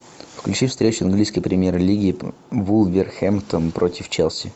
включи встречу английской премьер лиги вулверхэмптон против челси